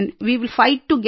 way will fight together